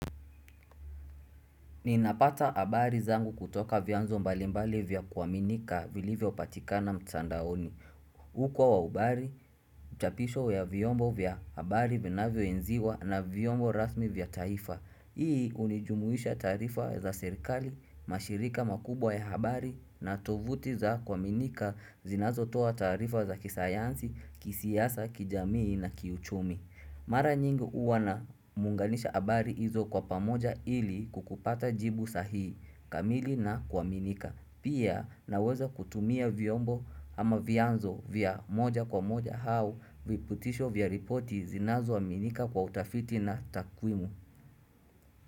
Ninapata habari zangu kutoka vyanzo mbalimbali vya kuaminika vilivyo patikana mtandaoni. Huko wa ubali, mchapisho ya vyombo vya habari vinavyo enziwa na vyombo rasmi vya taifa. Hii hunijumuisha taarifa za serikali, mashirika makubwa ya habari na tovuti za kuaminika zinazo toa taarifa za kisayansi, kisiasa, kijamii na kiuchumi. Mara nyingi huwa namunganisha habari hizo kwa pamoja ili kukupata jibu sahihi kamili na kuaminika. Pia naweza kutumia vyombo ama vyanzo vya moja kwa moja au viputisho vya ripoti zinazo aminika kwa utafiti na takwimu.